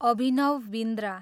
Abhinav Bindra